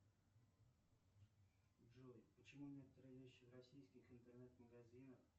джой почему некоторые вещи в российских интернет магазинах